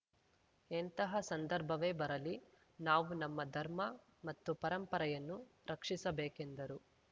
ಎಂತಹ ಸಂದರ್ಭವೇ ಬರಲಿ ನಾವು ನಮ್ಮ ಧರ್ಮ ಮತ್ತು ಪರಂಪರೆಯನ್ನು ರಕ್ಷಿಸಬೇಕೆಂದರು